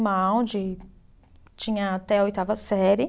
de, tinha até a oitava série.